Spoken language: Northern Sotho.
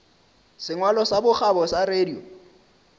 sengwalo sa bokgabo sa radio